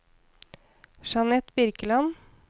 Jeanette Birkeland